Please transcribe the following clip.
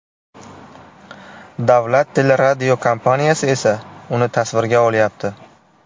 Davlat teleradiokompaniyasi esa uni tasvirga olyapti.